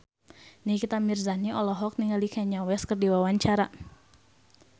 Nikita Mirzani olohok ningali Kanye West keur diwawancara